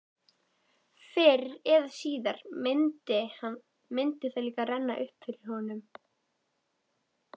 Fyrr eða síðar myndi það líka renna upp fyrir honum.